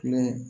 Filɛ